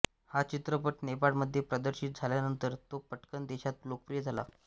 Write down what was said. हा चित्रपट नेपाळमध्ये प्रदर्शित झाल्यानंतर तो पटकन देशात लोकप्रिय झाला